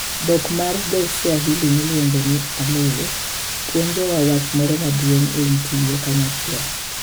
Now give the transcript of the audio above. Dhok mar dho-Swahili miluongo ni, aloe puonjowa wach moro maduong' e wi tiyo kanyachiel.